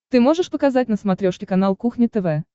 ты можешь показать на смотрешке канал кухня тв